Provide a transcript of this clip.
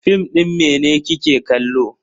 Fim din mene kike kallo?